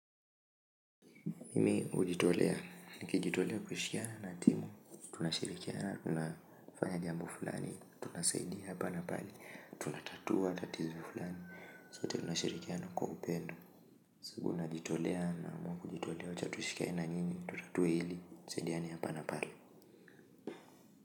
Mimi hujitolea nikijitolea kushikana na timu tunashirikiana na jambo fulani tunasaidia hapa na pale tunatatua tatizo la sote tunashirikiana kwa upendo siku najitolea na amua kujitolea wacha tushikane na nyinyi, tutatue hili, tusaidiane hapa na pale.